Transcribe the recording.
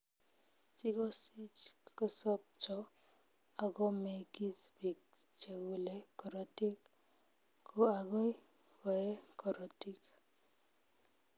Sigosich kosobcho agomengis biik chegule korotik, ko agoi koee korotik